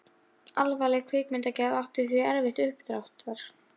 Alvarleg kvikmyndagerð átti því erfitt uppdráttar.